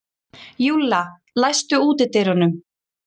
Júlla, læstu útidyrunum.